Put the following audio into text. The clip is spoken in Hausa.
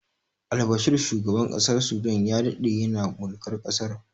Albashir shugaban ƙasar sudan ya daɗe yana mulkar ƙasar